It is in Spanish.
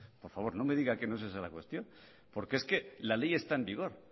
por favor no me diga que no es esa la cuestión porque es que la ley está en vigor